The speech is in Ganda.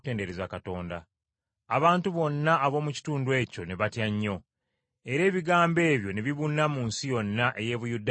Abantu bonna ab’omu kitundu ekyo ne batya nnyo, era ebigambo ebyo ne bibuna mu nsi yonna ey’e Buyudaaya ey’ensozi.